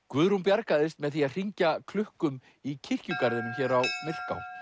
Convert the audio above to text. Guðrún bjargaðist með því að hringja klukkum í kirkjugarðinum hér á Myrká